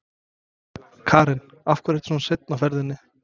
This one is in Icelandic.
Karen: Af hverju ertu svona seinn á ferðinni?